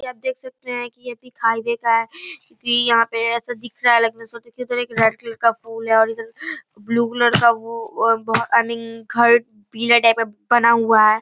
यह आप देख सकते हैं की यह पिक हाईवे का है क्युंकी यहाँ पे ऐसा दिख रहा है के एक रेड कलर का फूल है और इधर ब्लू कलर का वो बहु आई मीन घर पीला टाइप का बना हुआ है।